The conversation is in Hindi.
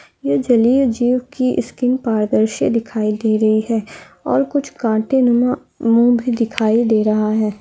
ये जलिया जुइग की स्किन पारदर्शी दिखाई दे रही हे। और काटे मुँह भी दिखाई दे रहा हे।